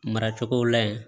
Maracogo la yen